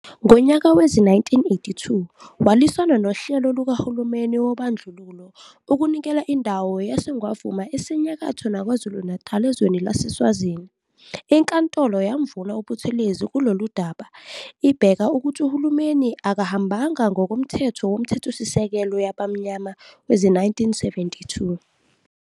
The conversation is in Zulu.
Ngonyaka wezi-1982 walwisana nohlelo lukaHulumeni wobandlululo ukunikela indawo yaseNgwavuma esenyakatho naKwaZulu ezweni laseSwazini. Inkantolo yamvuna uButhelezi kuloludaba ibeka ukuthi uHulumeni akahambanga ngokoMthetho woMthethosisekelo yabaMnyama wezi-1972.